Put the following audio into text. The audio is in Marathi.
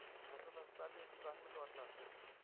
हसत हसत आली होती. चांगलंच वाटलं असंल.